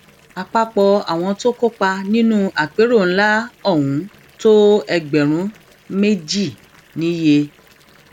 àpapọ àwọn tó kópa nínú àpérò ńlá ohun tó ẹgbẹrún méjì níye